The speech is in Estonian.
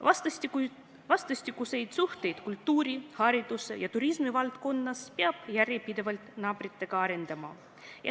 Vastastikuseid suhteid kultuuri-, haridus- ja turismivaldkonnas peab järjepidevalt naabritega arendama.